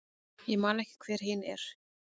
Ég man ekki hver hin er.